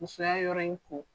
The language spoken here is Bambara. Musoya yɔrɔ in kɔ.